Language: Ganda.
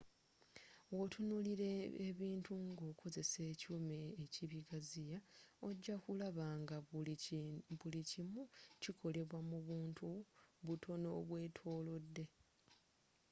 wotunulira ebintu ng'okozzesa ekyuma ekibigaziya ojja kulaba nga buli kimu kikolebwa mu buntu butono obwetolodde